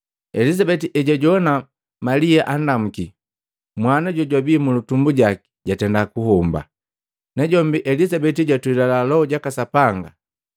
Elizabeti ejwajowana Malia andamuki, mwana jojwabi mulutumbu jaki jatenda kuhomba. Najombi Elizabeti jwatwelila Loho jaka Sapanga,